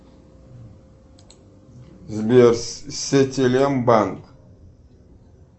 сбер сетелем банк